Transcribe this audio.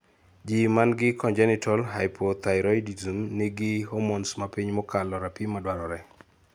Ji mangi congenital hypothyroidism nigi hormones mapiny mokalo rapim madwarore